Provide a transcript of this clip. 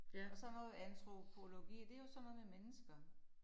Og sådan noget antropologi det jo sådan noget med mennesker